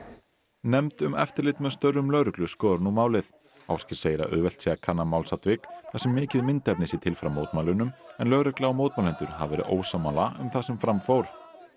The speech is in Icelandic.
nefnd um eftirlit með störfum lögreglu skoðar nú málið Ásgeir segir að auðvelt sé að kanna málsatvik þar sem mikið myndefni sé til frá mótmælunum en lögregla og mótmælendur hafa verið ósammála um það sem fram fór